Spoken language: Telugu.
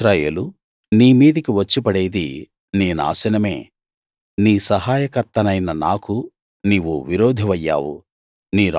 ఇశ్రాయేలూ నీ మీదికి వచ్చి పడేది నీ నాశనమే నీ సహాయకర్తనైన నాకు నీవు విరోధివయ్యావు